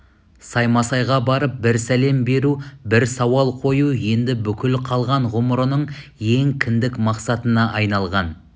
саймасайға барып бір сәлем беру бір сауал қою енді бүкіл қалған ғұмырының ең кіндік мақсатына айналған